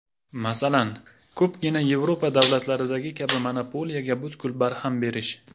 Masalan, ko‘pgina Yevropa davlatlaridagi kabi monopoliyaga butkul barham berish.